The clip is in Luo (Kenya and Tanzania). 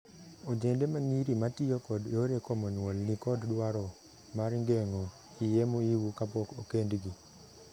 Ojende ma nyiri ma tiyo kod yore komo nyuol ni kod dwaro mar geng'o iyee mohiu kapok okendgi.